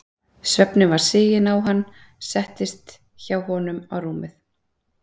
svefninn var siginn á hann settist ég hjá honum á rúmið.